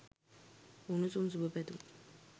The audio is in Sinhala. උණුසුම් සුභ පැතුම්